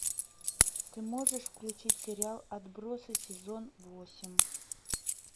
ты можешь включить сериал отбросы сезон восемь